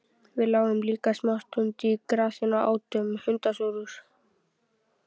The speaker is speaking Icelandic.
Við lágum líka smá stund í grasinu og átum hundasúrur.